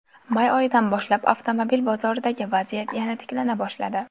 May oyidan boshlab avtomobil bozoridagi vaziyat yana tiklana boshladi.